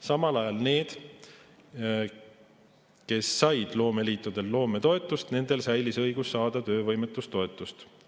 Samal ajal nendel, kes said loometoetust loomeliitudelt, säilis õigus saada töövõimetoetust.